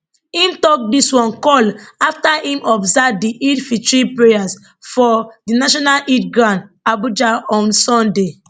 im tok dis one call afta im observe di eidelfitr prayers forn di national eid ground abuja on sunday